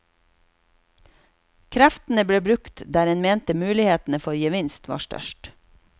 Kreftene ble brukt der en mente mulighetene for gevinst var størst.